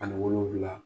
Ani wolonwula